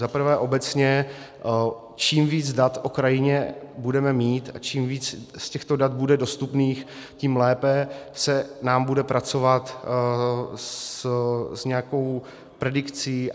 Za prvé, obecně, čím víc dat o krajině budeme mít a čím víc z těchto dat bude dostupných, tím lépe se nám bude pracovat s nějakou predikcí.